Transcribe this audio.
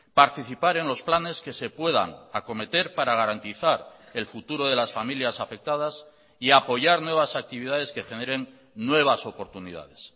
participar en los planes que se puedan acometer para garantizar el futuro de las familias afectadas y apoyar nuevas actividades que generen nuevas oportunidades